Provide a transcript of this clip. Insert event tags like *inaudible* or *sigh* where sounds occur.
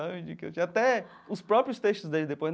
*unintelligible* Tinha até os próprios textos dele depois.